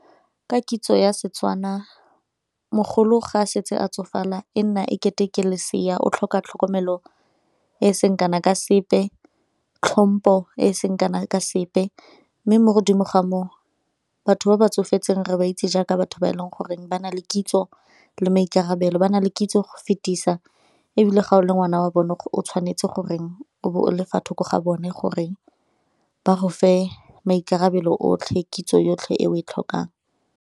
Ka kitso ya Setswana mogolo ga a setse a tsofala e nna ekete ke lesea o tlhoka tlhokomelo e e seng kana ka sepe, tlhompo e seng kana ka sepe mme mo godimo ga moo batho ba ba tsofetseng re ba itse jaaka batho ba e leng goreng ba na le kitso le maikarabelo, ba na le kitso go fetisa ebile ga o le ngwana wa bone o tshwanetse gore o be o le fa thoko ga bone gore ba go fe maikarabelo otlhe kitso yotlhe e o e tlhokang.